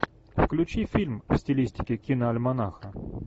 включи фильм в стилистике киноальманаха